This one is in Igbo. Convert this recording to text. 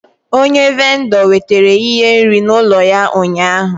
Onye vindor wetara ihe nri n'ulo ya ụnyahụ